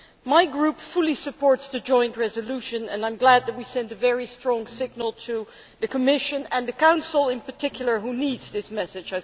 My group fully supports the joint resolution, and I am glad that we are sending a very strong signal to the Commission and the Council in particular, which I think needs this message.